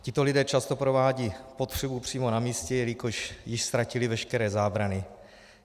Tito lidé často provádějí potřebu přímo na místě, jelikož již ztratili veškeré zábrany.